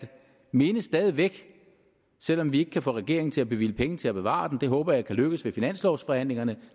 minde stadig væk selv om vi ikke kan få regeringen til at bevilge penge til at bevare den det håber jeg kan lykkes ved finanslovsforhandlingerne